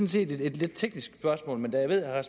set et lidt teknisk spørgsmål men da jeg ved at